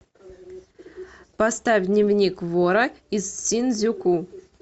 поставь дневник вора из синдзюку